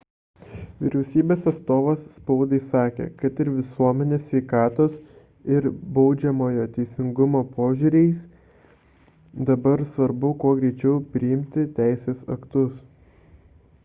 vyriausybės atstovas spaudai sakė kad ir visuomenės sveikatos ir baudžiamojo teisingumo požiūriais dabar svarbu kuo greičiau priimti teisės aktus